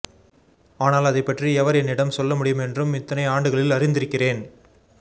ஆனால் அதைப்பற்றி எவர் என்னிடம் சொல்லமுடியும் என்றும் இத்தனை ஆண்டுகளில் அறிந்திருக்கிறேன்